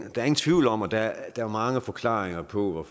tvivl om at der er mange forklaringer på at